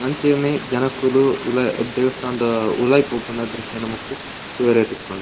ಅಂಚನೆ ಜನಕುಲು ಉಲಾ ದೇವಸ್ಥಾನದ ಉಲಾಯಿ ಪೋಪಿನ ದ್ರುಶ್ಯ ನಮಕ್ ತೂವರೆ ತಿಕ್ಕುಂಡು.